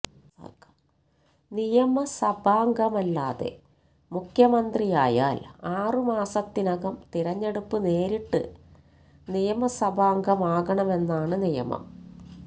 നിയമസഭാംഗമല്ലാതെ മുഖ്യമന്ത്രിയായാല് ആറ് മാസത്തിനകം തിരഞ്ഞെടുപ്പ് നേരിട്ട് നയമസഭാംഗമാകണമെന്നാണ് നിയമം